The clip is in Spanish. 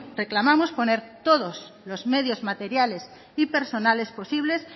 reclamamos poner todos los medios materiales y personales posibles